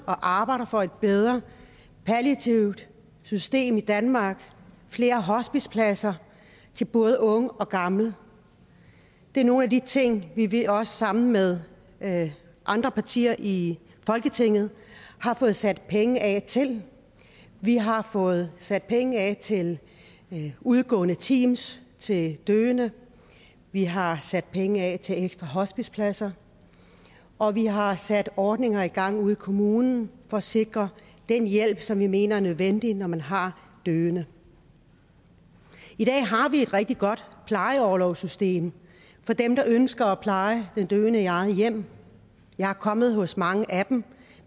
og arbejder for et bedre palliativt system i danmark flere hospicepladser til både unge og gamle det er nogle af de ting vi vi også sammen med med andre partier i folketinget har fået sat penge af til vi har fået sat penge af til udgående teams til døende vi har sat penge af til ekstra hospicepladser og vi har sat ordninger i gang ude i kommunerne for at sikre den hjælp som vi mener er nødvendig når man har døende i dag har vi et rigtig godt plejeorlovssystem for dem der ønsker at pleje den døende i eget hjem jeg er kommet hos mange af dem